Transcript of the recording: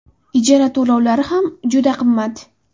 Ijara to‘lovlari ham juda qimmat.